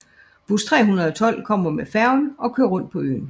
Buss 312 kommer med færgen og kører rundt på øen